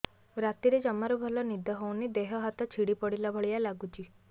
ରାତିରେ ଜମାରୁ ଭଲ ନିଦ ହଉନି ଦେହ ହାତ ଛିଡି ପଡିଲା ଭଳିଆ ଲାଗୁଚି